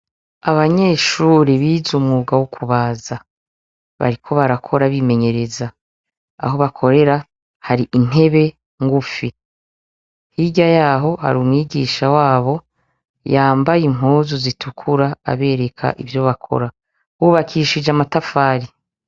Abanyeshuri bize umwuga wo kubaza bariko barakora bimenyereza aho bakorera hari intebe ngufi hirya yaho hari umwigisha wabo yambaye impuzu zi tukura abereka ivyo bakora bubakishije amatafari.